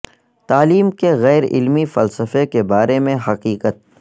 تعلیم کے غیر علمی فلسفہ کے بارے میں حقیقت